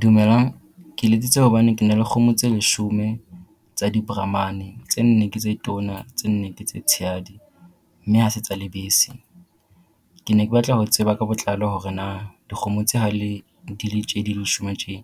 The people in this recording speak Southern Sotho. Dumelang. Ke letsitse hobane kena le kgomo tse leshome tsa di-brahmane. Tse nne ke tse tona tse nne ke tse tshehadi mme ha se tsa lebese. Ke ne ke batla ho tseba ka botlalo hore na dikgomo tse ha le di le tje di le leshome tje